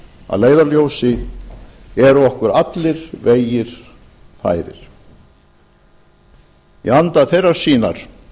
að leiðarljósi eru okkur allir vegir færir í anda þeirrar sýnar